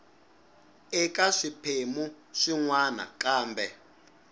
eka swiphemu swin wana kambe